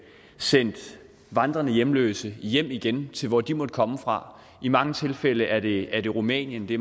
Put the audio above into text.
sendt vandrende hjemløse hjem igen til hvor de måtte komme fra i mange tilfælde er det er det rumænien i